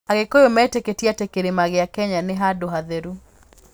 Agĩkũyũ metĩkĩtie atĩ Kĩrĩma kĩa Kenya nĩ handũ hatheru.